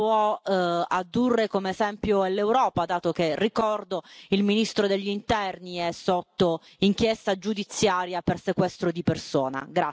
può addurre come esempio per l'Europa, dato che, ricordo, il ministro degli Interni è sotto inchiesta giudiziaria per sequestro di persona.